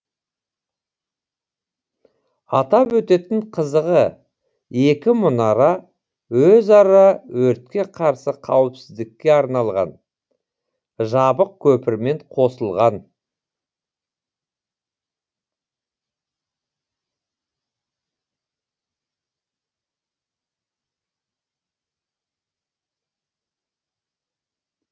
атап өтетін қызығы екі мұнара өзара өртке қарсы қауіпсіздікке арналған жабық көпірмен қосылған